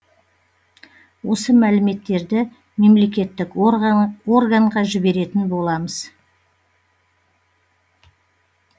осы мәліметтерді мемлекеттік органға жіберетін боламыз